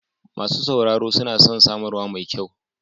Masu sauraro suna son samarwa mai kyau.